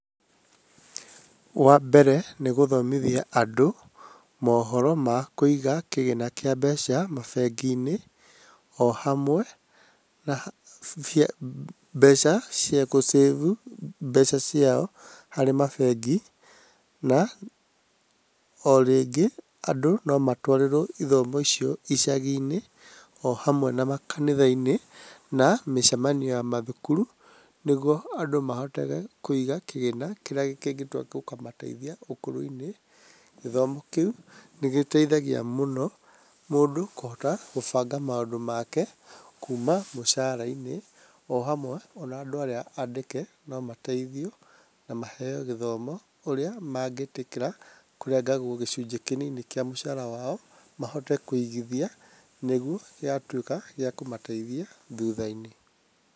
Wa mbere nĩ gũthomithia andũ mohoro ma kũiga kĩgĩna kĩa mbeca mabengi-inĩ o hamwe na mbeca cia gũcĩbu mbeca ciao harĩ mabengi. Na o rĩngĩ andũ no matwarĩrwo ithomo icio icagi-inĩ o hamwe na makanitha-inĩ na mĩcemanio ya mathukuru. Nĩguo andũ mahote kũiga kĩgĩna kĩrĩa kĩngĩtua gũkamateithia ũkũrũ-inĩ. Gĩthomo kĩu nĩ gĩteithagia mũno mũndũ kũhota gũbanga maũndũ make kuuma mũcara-inĩ. O hamwe ona andũ arĩa andĩke no mateithio na maheo gĩthomo, ũrĩa mangĩtĩkĩra kũrengagwo gĩcunjĩ kĩnini kĩa mũcara wao, mahote kũigithia nĩguo gĩgatuĩka gĩa kũmateithia thutha-inĩ.